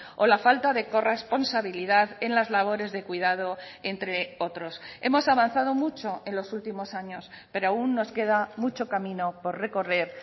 o la falta de corresponsabilidad en las labores de cuidado entre otros hemos avanzado mucho en los últimos años pero aún nos queda mucho camino por recorrer